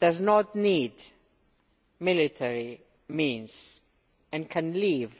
does not need military means and can leave